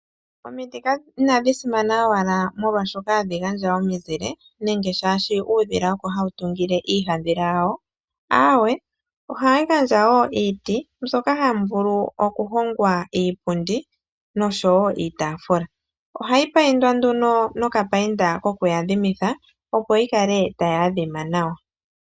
Omiti inadhi simana owala molwashoka hadhi gandja omizile nenge shaashi uudhila oko hawu tungile iihandhila yawo, aawe ohadhi gandjawo iiti mbyoka hamu vulu okuhongwa iipundi noshowo iitafula ohayi paindwa nduno nokapainda koku adhimitha opo yi kale tayi adhima nawa.